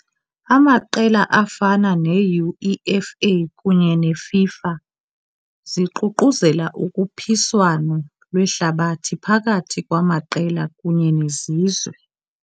Amaqela afana neUEFA kunye neFIFA ziququzelela ukhuphiswano lwehlabathi phakathi kwamaqela kunye nezizwe.